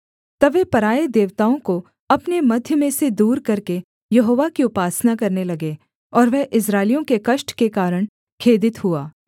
तब वे पराए देवताओं को अपने मध्य में से दूर करके यहोवा की उपासना करने लगे और वह इस्राएलियों के कष्ट के कारण खेदित हुआ